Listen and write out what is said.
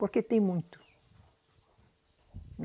Porque tem muito.